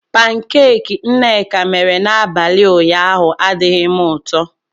Pankeeki nneka mere n'abalị ụnyaahụ adighị m ụtọ.